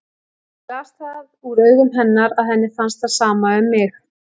Ég las það úr augum hennar að henni fannst það sama um mig.